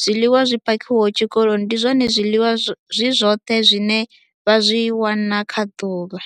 zwiḽiwa zwi phakhiwaho tshikoloni ndi zwone zwiḽiwa zwi zwoṱhe zwine vha zwi wana kha ḓuvha.